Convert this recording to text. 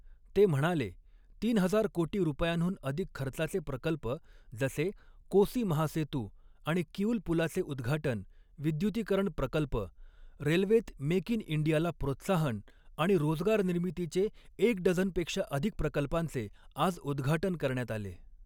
ते म्हणाले, तीन हजार कोटी रुपयांहून अधिक खर्चाचे प्रकल्प जसे कोसी महासेतू आणि किऊल पुलाचे उद्घाटन, विद्युतीकरण प्रकल्प, रेल्वेत मेक इन इंडियाला प्रोत्साहन आणि रोजगारनिर्मितीचे एक डझनपेक्षा अधिक प्रकल्पांचे आज उद्घाटन करण्यात आले.